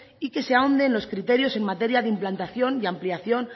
y que se ahonde en los criterios en materia de implantación y ampliación